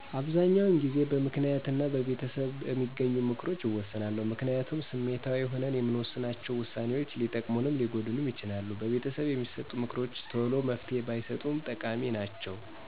አበሰዛኛዉን ጊዜበምክንያት እና በቤተሰብበሚገኙምክሮች እወስናለሁ። ምክንያቱም ስሜታዊ ሁነን የምንወሥናቸ ውሳኔዎች ሊጠቅሙንም ሊጎዱንም ይችላሉ። በቤተሰብ የሚሠጡ ምክሮችተሎመፍትሄ ባይሠጡም ጠቃሚ ናቸዉ።